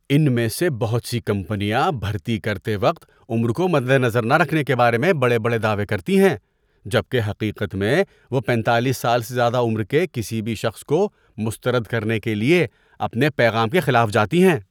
ان میں سے بہت سی کمپنیاں بھرتی کرتے وقت عمر کو مد نظر نہ رکھنے کے بارے میں بڑے بڑے دعوے کرتی ہیں جبکہ حقیقت میں، وہ پینتالیس سال سے زیادہ عمر کے کسی بھی شخص کو مسترد کرنے کے لیے اپنے پیغام کے خلاف جاتی ہیں۔